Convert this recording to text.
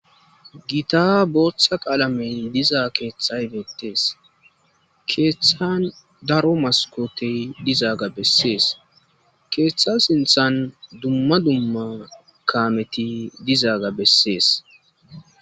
Gita bootha qalamey diza kethay betes. Kethan daro maskot dizaga beses. Ketha sinthan dumma dumma kameti dizaga beses.